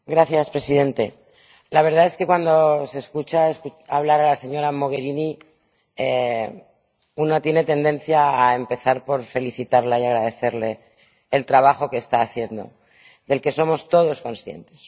Señor presidente, la verdad es que cuando se escucha hablar a la señora Mogherini una tiene tendencia a empezar por felicitarla y agradecerle el trabajo que está haciendo, del que somos todos conscientes.